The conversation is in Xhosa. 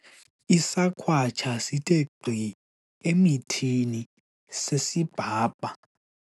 isakhwatsha sithe gqi emithini sesibhabha